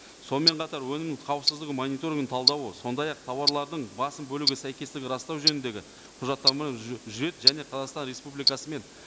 сонымен қатар өнімнің қауіпсіздігін мониторингінің талдауы сондай ақ тауарлардың басым бөлігі сәйкесітігі растау жөніндегі құжаттама жүреді және қазақстан республикасы мен